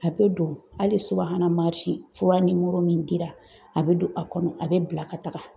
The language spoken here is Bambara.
A bɛ don hali subahana mansin fura min dira a bɛ don a kɔnɔ a bɛ bila ka taga.